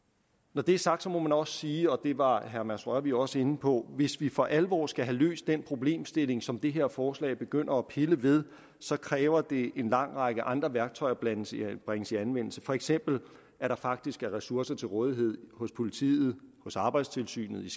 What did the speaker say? når det er sagt må man også sige og det var herre mads rørvig også inde på hvis vi for alvor skal have løst den problemstilling som det her forslag begynder at pille ved så kræver det en lang række andre værktøjer bringes i bringes i anvendelse for eksempel at der faktisk er ressourcer til rådighed hos politiet hos arbejdstilsynet